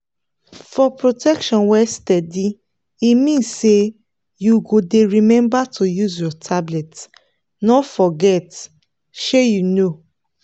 for protection wey steady e mean say you go dey remember to use your tablet no forget. shey you know!